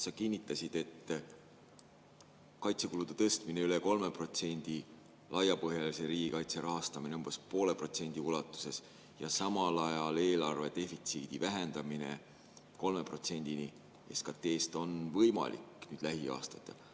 Sa kinnitasid, et kaitsekulude tõstmine üle 3%, laiapõhjalise riigikaitse rahastamine umbes 0,5% ulatuses ja samal ajal eelarve defitsiidi vähendamine 3%‑ni SKT‑st on lähiaastatel võimalik.